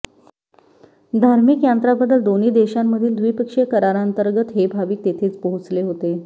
धार्मिक यात्रांबद्दल दोन्ही देशांमधील द्विपक्षीय करारांतर्गत हे भाविक तेथे पोहोचले होते